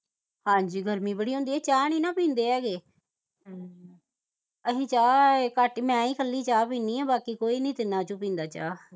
ਹਾਂਜੀ ਗਰਮੀ ਬੜੀ ਹੁੰਦੀ ਇਹ ਚਾਹ ਨੀ ਨਾ ਪੀਂਦੇ ਹੈਗੇ ਅਹੀ ਚਾਹ ਘਟ ਹੀ ਮੈਂ ਇਕੱਲੀ ਹੀ ਚਾਹ ਪੀਨੀ ਬਾਕੀ ਕੋਈ ਨੀ ਤਿੰਨਾਂ ਵਿਚੋਂ ਪੀਂਦਾ ਚਾਹ